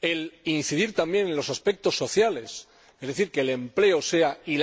el incidir también en los aspectos sociales, es decir que la